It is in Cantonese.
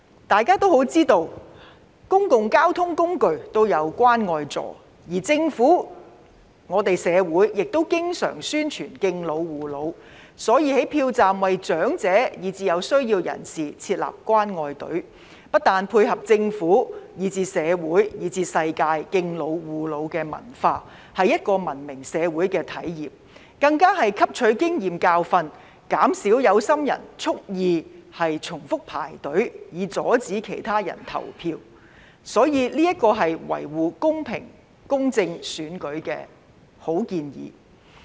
大家都知道，公共交通工具均設有"關愛座"，而政府及我們社會亦經常宣傳敬老護老，所以在票站為長者以至有需要人士設立"關愛隊"，不但是配合政府、社會以至世界敬老護老的文化，是文明社會的體現，更是汲取經驗教訓，減少有心人蓄意重複排隊，以阻礙其他人投票，所以這是維護公平公正選舉的好建議。